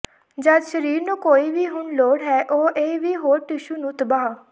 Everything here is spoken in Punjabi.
ਜਦ ਸਰੀਰ ਨੂੰ ਕੋਈ ਵੀ ਹੁਣ ਲੋੜ ਹੈ ਉਹ ਇਹ ਵੀ ਹੋਰ ਟਿਸ਼ੂ ਨੂੰ ਤਬਾਹ